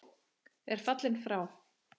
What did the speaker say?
er fallinn frá.